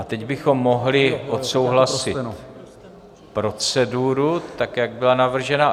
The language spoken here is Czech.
A teď bychom mohli odsouhlasit proceduru tak, jak byla navržena.